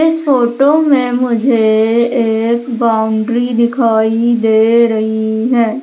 इस फोटो मे मुझे एक बॉउंड्री दिखाई दे रही है।